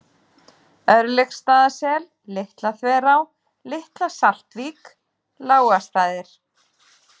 Örlygsstaðasel, Litlaþverá, Litla-Saltvík, Lágastaðir